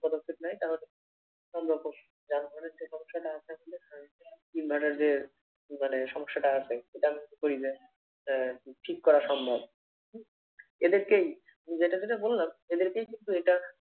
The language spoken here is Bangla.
পদক্ষেপ নেয় তাহলে সম্ভব হবে যার ফলে যে সমস্যাটা আছে আসলে ইট ভাটার যে মানে সমস্যাটা আছে সেটা ঠিক করা সম্ভব। এদেরকেই যেটা যেটা বললাম এদেরকেই কিন্তু এটা